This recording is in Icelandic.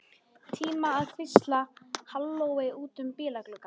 Tíma til að hvísla hallói út um bílgluggann.